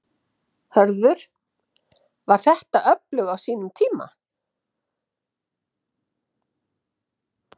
Höskuldur: Var þetta öflug á sínum tíma?